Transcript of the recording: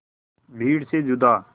भीड़ से जुदा